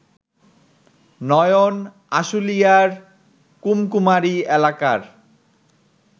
নয়ন আশুলিয়ার কুমকুমারী এলাকার